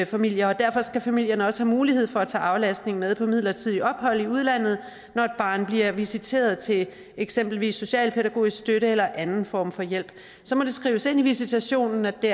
familier derfor skal familierne også have mulighed for at tage aflastningen med på midlertidige ophold i udlandet når et barn bliver visiteret til eksempelvis socialpædagogisk støtte eller anden form for hjælp så må det skrives ind i visitationen at det